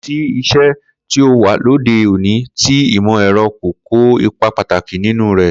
Kò sí is̩é̩ tí ó wà lóde òní tí ìmò̩-è̩ro̩ kò kó ipa pàtàkí nínú rè̩